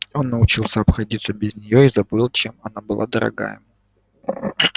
он научился обходиться без неё и забыл чем она была дорога ему